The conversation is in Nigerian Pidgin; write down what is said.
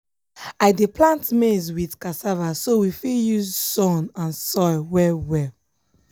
i dey plant maize with cassava so we fit use use sun and soil well well.